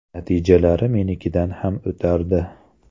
Natijalari menikidan ham o‘tardi.